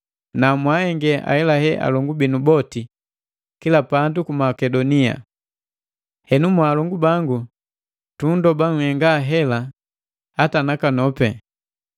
Na mwaahenge hahelahe alongu binu boti kila pandu ku Makedonia. Henu mwaalongu bangu tunndoba nhenga hela hata nakanopi.